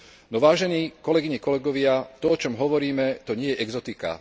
No vážení, kolegyne, kolegovia, to, o čom hovoríme, to nie je exotika.